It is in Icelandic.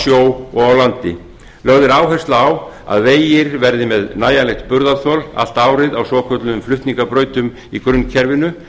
sjó og á landi lögð er áhersla á að vegir verði með nægjanlegt burðarþol allt árið á svokölluðum flutningabrautum í grunnkerfinu